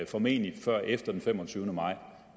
formentlig før efter den femogtyvende maj